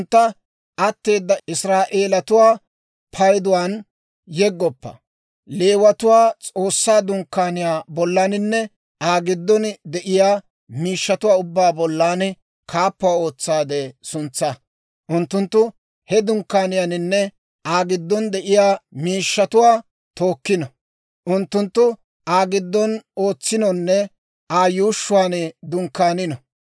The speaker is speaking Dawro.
Leewatuwaa S'oossaa Dunkkaaniyaa bollaninne Aa giddon de'iyaa miishshatuwaa ubbaa bollan kaappuwaa ootsaade suntsaa. Unttunttu he Dunkkaaniyaanne Aa giddon de'iyaa miishshata tookkino; unttunttu Aa giddon ootsinonne Aa yuushshuwaan dunkkaanino.